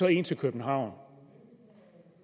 ind til københavn